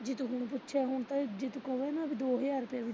ਜੇ ਤੂੰ ਹੁਣ ਪੁੱਛੇ ਹੁਣ ਤਾਂ ਜੇ ਤੂੰ ਕਵੇ ਵੀ ਨਾ ਦੋ ਹਜਾਰ ਰੁਪਈਆ ਵੀ ਜੋੜ।